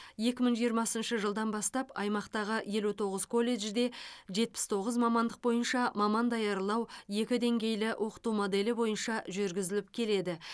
екі мың жиырмасыншы жылдан бастап аймақтағы елу тоғыз колледжде жетпіс тоғыз мамандық бойынша маман даярлау екі деңгейлі оқыту моделі бойынша жүргізіліп келеді